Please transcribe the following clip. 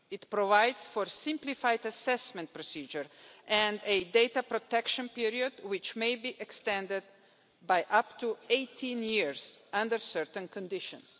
It provides for a simplified assessment procedure and a data protection period which may be extended by up to 18 years under certain conditions.